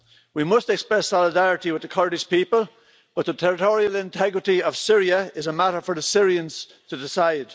We must express solidarity with the Kurdish people, but the territorial integrity of Syria is a matter for the Syrians to decide.